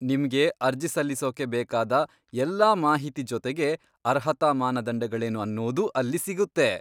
ನಿಮ್ಗೆ ಅರ್ಜಿ ಸಲ್ಲಿಸೋಕೆ ಬೇಕಾದ ಎಲ್ಲಾ ಮಾಹಿತಿ ಜೊತೆಗೆ ಅರ್ಹತಾ ಮಾನದಂಡಗಳೇನು ಅನ್ನೋದೂ ಅಲ್ಲಿ ಸಿಗುತ್ತೆ.